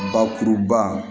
Bakuruba